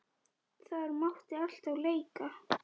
Þar mátti alltaf leika.